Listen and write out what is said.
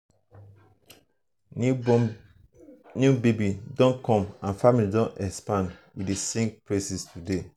new baby don come and family don expand we dey sing praises today.